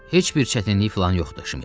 Heç bir çətinlik filan yoxdur Şmit.